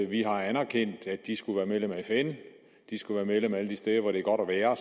vi har anerkendt at de skulle være medlem af fn at de skulle være medlem alle de steder hvor det er godt at være